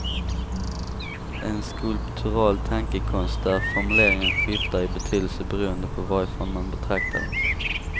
En skulptural tankekonst, där formuleringen skiftar i betydelse beroende på varifrån man betraktar den.